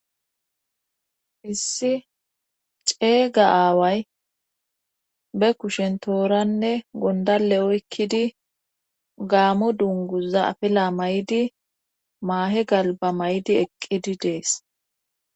issi ceeyga aaway be kushen tooranne gondale oykkidi gaamo dunguza afila mayidi maahe galba mayidi eqqidi dees.